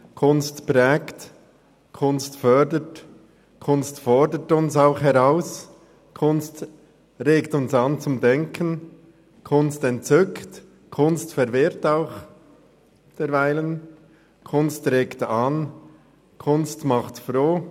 Kunst prägt, Kunst fördert, Kunst fordert uns auch heraus, Kunst regt uns zum Denken an, Kunst entzückt, Kunst verwirrt zuweilen auch, Kunst regt an, Kunst macht froh;